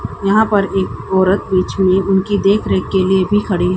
यहां पर एक औरत बीच में उनकी देखरेख के लिए भी खड़ी--